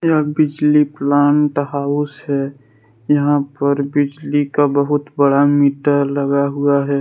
यह बिजली plant house है। यहां पर बिजली का बहुत बड़ा मीटर लगा हुआ है।